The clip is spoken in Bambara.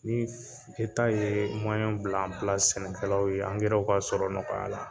Ni eta ye mɔyɛn bila an pilasi sɛnɛkɛlaw ye angɛ ka sɔrɔ nɔgɔya la